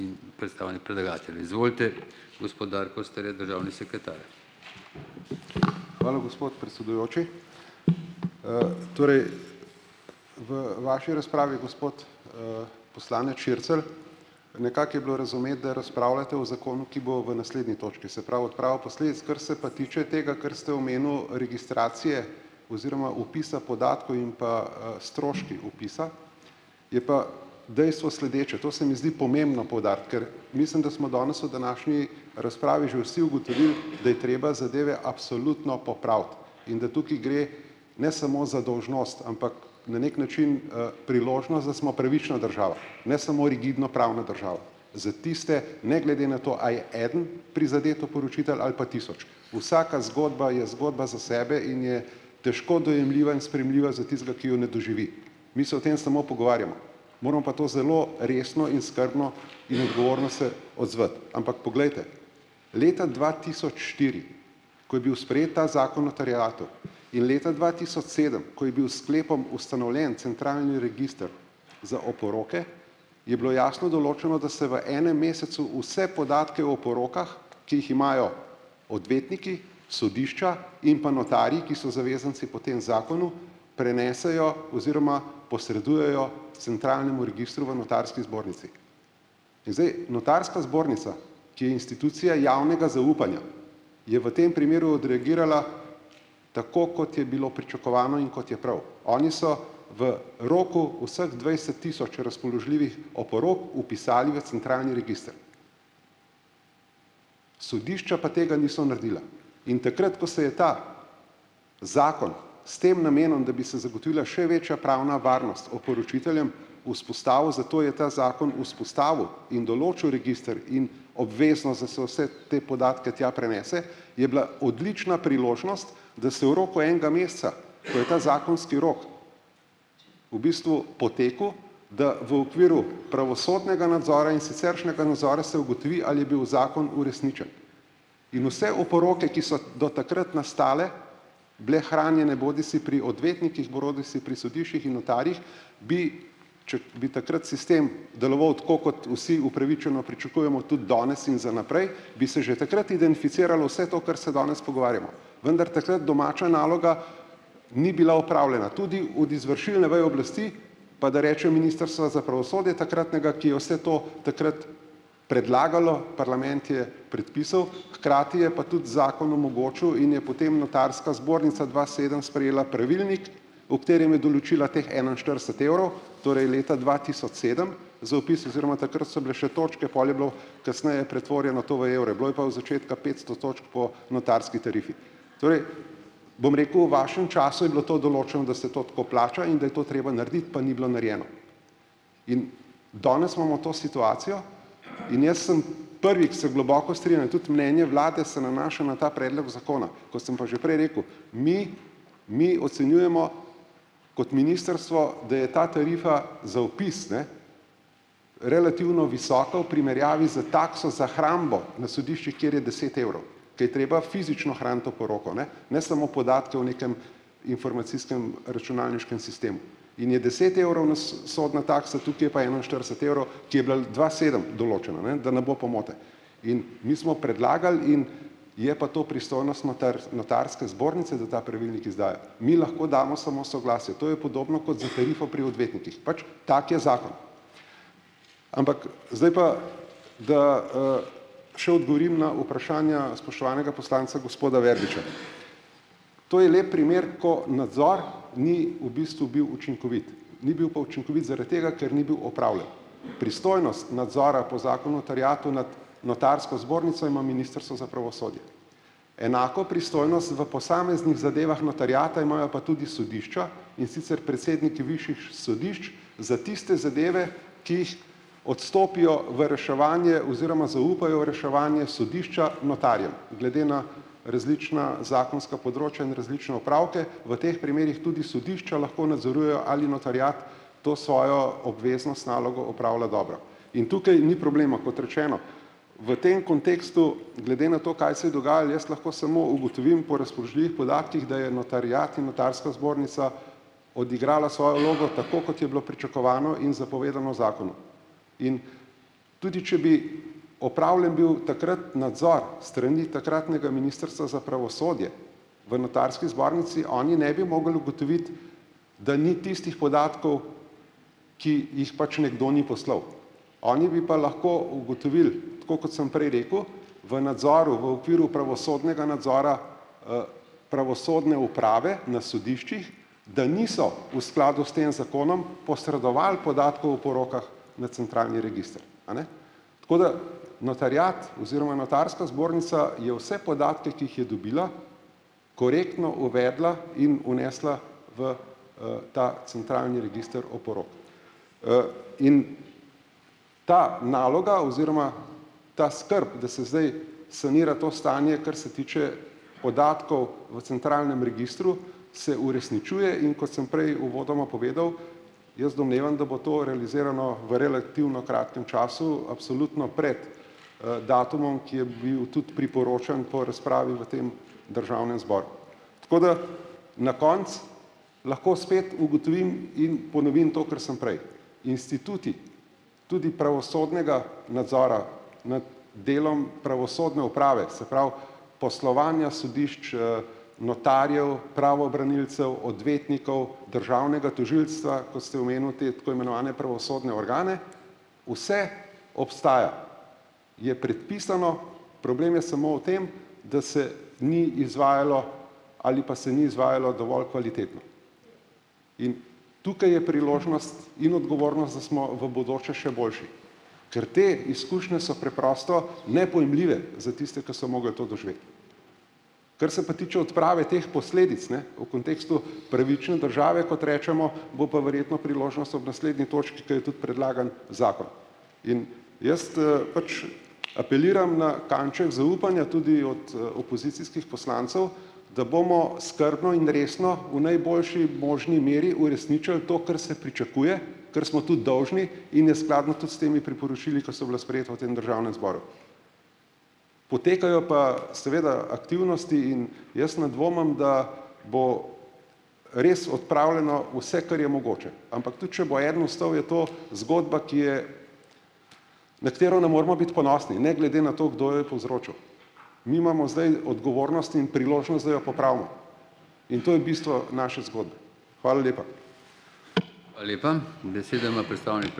Hvala, gospod predsedujoči. torej v vaši razpravi, gospod, poslanec Šircelj, nekako je bilo razumeti, da razpravljate o zakonu, ki bo v naslednji točki, se pravi, odprava posledic. Kar se pa tiče tega, kar ste omenil, registracije oziroma vpisa podatkov in pa, stroški vpisa, je pa dejstvo sledeče, to se mi zdi pomembno poudariti, ker mislim, da smo danes v današnji razpravi že vsi ugotovili, da je treba zadeve absolutno popraviti in da tukaj gre ne smo za dolžnost, ampak na neki način, priložnost, da smo pravična država, ne samo rigidno pravna država. Za tiste, ne glede na to, a je eden prizadet oporočitelj ali pa tisoč, vsaka zgodba je zgodba za sebe in je težko dojemljiva in sprejemljiva za tistega, ki jo ne doživi. Mi se o tem samo. Moramo pa to zelo resno in skrbno in odgovorno se odzvati, ampak poglejte, leta dva tisoč štiri, ko je bil sprejet ta Zakon o terjatvah, in leta dva tisoč sedem, ko je bil s sklepom ustanovljen centralni register za oporoke, je bilo jasno določeno, da se v enem mesecu vse podatke o porokah, ki jih imajo odvetniki, sodišča in pa notarji, ki so zavezanci po tem zakonu, prenesejo oziroma posredujejo centralnemu registru v notarski zbornici. In zdaj, notarska zbornica, ki je institucija javnega zaupanja, je v tem primeru tako kot je bilo pričakovano in kot je prav. Oni so v roku vseh dvajset tisoč razpoložljivih oporok vpisali v centralni register. Sodišča pa tega niso naredila. In takrat, ko se je ta zakon s tem namenom, da bi se zagotovila še večja pravna varnost oporočiteljem, vzpostavil, zato je ta zakon vzpostavil in določil register in se vse te podatke tja prenese, je bila odlična priložnost, da se v roku enega meseca, ko je ta zakonski rok v bistvu potekel, da v okviru pravosodnega nadzora in siceršnjega se ugotovi, ali je bil zakon uresničen. In vse oporoke, ki so do takrat nastale, bile hranjene bodisi pri odvetnikih bodisi pri sodiščih in notarjih, bi, če bi takrat sistem deloval, tako kot vsi upravičeno pričakujemo tudi danes in za naprej, bi se že takrat identificiralo vse to, kar se danes pogovarjamo, vendar domača naloga ni bila opravljena. Tudi od izvršilne veje oblasti, pa da rečem Ministrstva za pravosodje takratnega, ki je vse to takrat predlagalo, parlament je predpisal, hkrati je pa tudi zakon omogočil in je potem notarska zbornica dva sedem sprejela pravilnik, v katerem je določila teh enainštirideset evrov, torej leta dva tisoč sedem, za vpis oziroma takrat so bile še točke, pol je bilo kasneje pretvorjeno to v evre, bilo je pa v začetka petsto točk po notarski tarifi. Torej, bom rekel, v vašem času je bilo to, da se to tako plača in da je to treba narediti, pa ni bilo narejeno. In danes imamo to situacijo in jaz sem prvi, ke se globoko tudi mnenje vlade se nanaša na ta predlog zakona, kot sem pa že prej rekel, mi mi ocenjujemo kot ministrstvo, da je ta tarifa za vpis, ne, relativno visoka v primerjavi za takso za hrambo na sodiščih, kjer je deset evro, ke je treba fizično hraniti oporoko, ne, ne samo podatke o nekem imformacijskem računalniškem sistemu. In je deset evrov, ne, sodna taksa, tukaj je pa enainštirideset evrov, ki je bila dva sedem določena, ne, da ne bo pomote. In mi smo predlagali in je pa to pristojnost notarske zbornice, da ta pravilnik izdajo. Mi lahko damo samo soglasje, to je podobno kot za tarifo pri odvetnikih, pač tak je zakon. Ampak, zdaj pa, da, še odgovorim na vprašanja spoštovanega poslanca gospoda Verbiča. To je lep primer, ko nadzor ni v bistvu bil učinkovit. Ni bil pa učinkovit zaradi tega, ker ni bil opravljen. Pristojnost nadzora po Zakonu o terjatvah nad notarsko zbornico ima Ministrstvo za pravosodje. Enako pristojnost v posameznih zadevah notariata imajo pa tudi sodišča, in sicer predsedniki višjih sodišč za tiste zadeve, ki jih odstopijo v reševanje oziroma zaupajo v reševanje sodišča notarjem, glede na različna zakonska področja in različne opravke, v teh primerih tudi sodišča lahko nadzorujejo, ali notariat to svojo obveznost, nalogo opravlja dobro. In tukaj ni problema, kot rečeno, v tem kontekstu, glede na to, kaj se dogajalo, jaz lahko smo ugotovim po da je notariat in notarska zbornica odigrala svojo vlogo tako, kot je bilo pričakovano in zapovedano zakonu. In tudi če bi opravljen bil takrat nadzor strani takratnega Ministrstva za pravosodje v notarski zbornici, oni ne bi mogli ugotoviti, da ni tistih podatkov, ki jih pač nekdo ni poslal. Oni bi pa lahko ugotovil, tako kot sem prej rekel, v nadzoru v okviru pravosodnega nadzora, pravosodne uprave na sodiščih, da niso v skladu s tem zakonom posredovali podatkov v porokah na centralni register, a ne. Tako da notariat oziroma notarska je vse podatke, ki jih je dobila, korektno uvedla in vnesla v, ta centralni register oporok. in ta naloga oziroma ta skrb, da se zdaj sanira to stanje, kar se tiče podatkov v centralnem registru, se uresničuje in kot sem prej uvodoma povedal, jaz domnevam, da to realizirano v relativno kratkem času absolutno pred, datumom, ki je bil tudi priporočen po razpravi v tem državnem zboru. Tako da na koncu lahko spet ugotovim in ponovim to, ker sem prej, instituti, tudi pravosodnega nadzora nad delom pravosodne uprave, se pravi poslovanja sodišč, notarjev, pravobranilcev, odvetnikov, državnega tožilstva, kot ste omenil te tako imenovane pravosodne organe, vse obstaja. Je predpisano, problem je samo v tem, da se ni izvajalo ali pa se ni izvajalo dovolj kvalitetno. In tukaj je priložnost, smo v bodoče še boljše, ker te izkušnje so preprosto nepojmljive za tiste, ki so mogli to doživeti. Kar se pa tiče odprave teh posledic, ne, v kontekstu pravične države, kot recimo, bo pa verjetno priložnost ob naslednji točki, ker je tudi predlagan zakon. In jaz, pač apeliram na kanček zaupanja tudi od, opozicijskih poslancev, da bomo skrbno in resno v najboljši možni meri uresničili to, kar se pričakuje, kar smo tudi dolžni in je skladno tudi s temi priporočili, ki so bila sprejeta v tem državnem zboru. Potekajo pa seveda aktivnosti in jaz ne dvomim, da bo res odpravljeno vse, kar je mogoče. Ampak tudi če bo eden ostal, je to zgodba, ki je na katero ne moramo biti ponosni, ne glede na to, kdo povzročil. Mi imamo zdaj odgovornost in priložnost, da jo popravimo in to je bistvo naše zgodbe. Hvala lepa.